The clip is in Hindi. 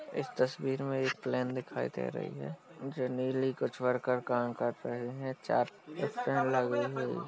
इस तस्वीर में एक प्लैन दिखाई दे रही है जो नीली कुछ वर्कर काम कर रहे हैं। चार स्टैन्ड लगे हुए हैं।